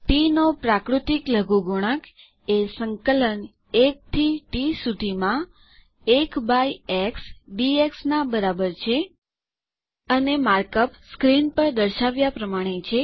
T નો પ્રાકૃતિક લઘુગુણક એ સંકલન ૧ થી ટી સુધીમાં ૧ બાય એક્સ ડીએક્સનાં બરાબર છે અને માર્ક અપ પડદાં પર બતાવ્યાં પ્રમાણે છે